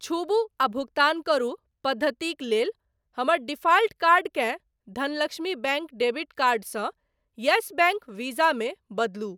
छूबु आ भुगतान करू पद्धतिक लेल हमर डिफाल्ट कार्डकेँ धनलक्ष्मी बैंक डेबिट कार्ड सँ येस बैंक वीज़ा मे बदलू।